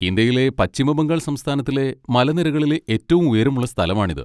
ഇന്ത്യയിലെ പശ്ചിമ ബംഗാൾ സംസ്ഥാനത്തിലെ മലനിരകളിലെ ഏറ്റവും ഉയരമുള്ള സ്ഥലമാണിത്.